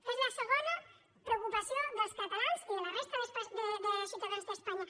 que és la segona preocupació dels catalans i de la resta de ciutadans d’espanya